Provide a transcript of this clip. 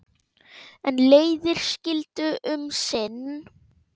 En leiðir skildu um sinn.